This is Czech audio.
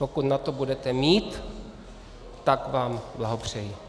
Pokud na to budete mít, tak vám blahopřeji.